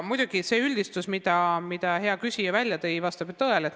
Muidugi, see üldistus, mille hea küsija välja tõi, vastab tõele.